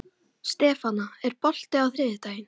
Stefana, er bolti á þriðjudaginn?